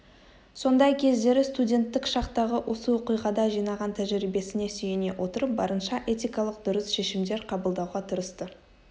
сондай кездері студенттік шақтағы осы оқиғада жинаған тәжірибесіне сүйене отырып барынша этикалық дұрыс шешімдер қабылдауға тырысты